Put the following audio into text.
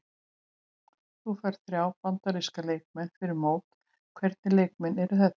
Þú færð þrjá Bandaríska leikmenn fyrir mót, hvernig leikmenn eru þetta?